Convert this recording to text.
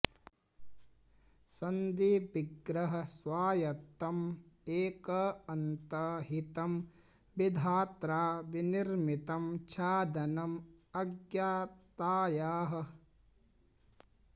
सन्धि विग्रह स्वायत्तं एक अन्त हितं विधात्रा विनिर्मितं छादनं अज्ञतायाः